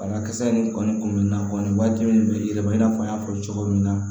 Banakisɛ in kɔni kun bɛ n na kɔni waajibi de bɛ yɛlɛma i n'a fɔ n y'a fɔ cogo min na